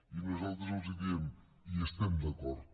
i nosaltres els diem hi estem d’acord